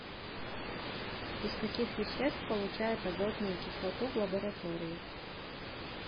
из каких веществ получают азотную кислоту в лаборатории